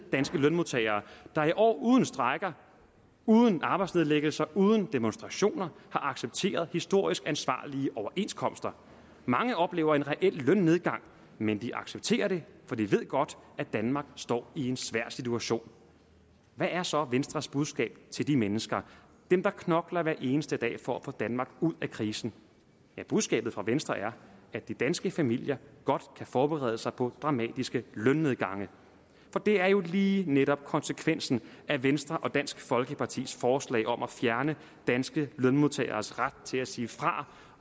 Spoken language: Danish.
danske lønmodtagere der i år uden strejker uden arbejdsnedlæggelser uden demonstrationer har accepteret historisk ansvarlige overenskomster mange oplever en reel lønnedgang men de accepterer det for de ved godt at danmark står i en svær situation hvad er så venstres budskab til de mennesker dem der knokler hver eneste dag for at få danmark ud af krisen ja budskabet fra venstre er at de danske familier godt kan forberede sig på dramatiske lønnedgange for det er jo lige netop konsekvensen af venstre og dansk folkepartis forslag om at fjerne danske lønmodtageres ret til at sige fra